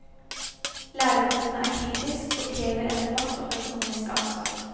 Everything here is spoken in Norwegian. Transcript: Lærerforbundet er kritisk og krever en debatt om det økonomiske ansvar.